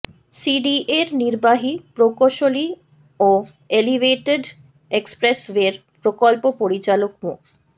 সিডিএর নির্বাহী প্রকৌশলী ও এলিভেডেট এক্সপ্রেসওয়ের প্রকল্প পরিচালক মো